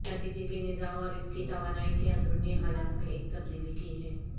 نتیجہ کے نظام اور اس کی توانائی کی اندرونی حالت میں ایک تبدیلی کی ہے